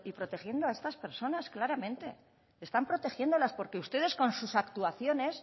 protegiendo a estar personas claramente están protegiéndolas porque ustedes con sus actuaciones